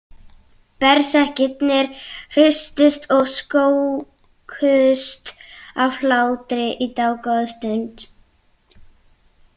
Berserkirnir hristust og skókust af hlátri í dágóða stund.